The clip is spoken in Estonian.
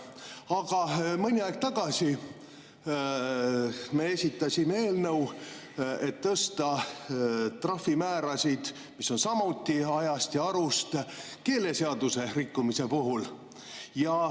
Aga mõni aeg tagasi me esitasime eelnõu, et tõsta trahvimäärasid, mis on samuti ajast ja arust, keeleseaduse rikkumise puhul.